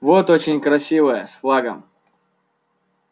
вот очень красивая с флагом